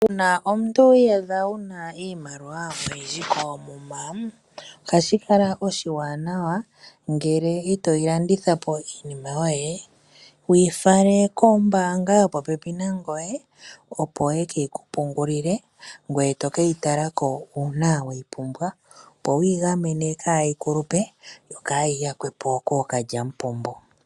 Uuna omuntu wi iyadha wu na iimaliwa oyindji koomuma, ohashi kala oshiwanawa ngele itoyi landitha po iinima yoye, wuyi fale kombaanga yopopepi nangoye opo yekeyi ku pungulile, ngoye toke yi tala ko uuna weyi pumbwa opo wiigamene kaayi kulupe, noyi yakwe po kookalyamupombo.